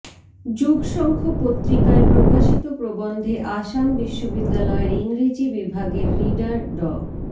যুগশঙ্খ পত্রিকায় প্রকাশিত প্রবন্ধে আসাম বিশ্ববিদ্যালয়ের ইংরেজি বিভাগের রিডার ড